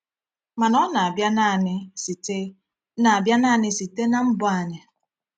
Mana ọ na-abịa naanị site na-abịa naanị site na mbọ anyị?